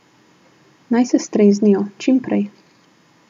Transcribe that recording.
Naj se streznijo, čim prej.